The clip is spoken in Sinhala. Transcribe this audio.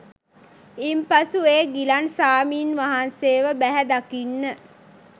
ඉන්පසු ඒ ගිලන් ස්වාමීන් වහන්සේව බැහැදකින්න